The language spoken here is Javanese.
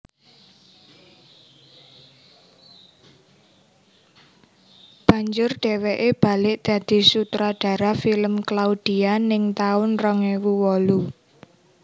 Banjur dheweke balik dadi sutradara film Claudia ning taun rong ewu wolu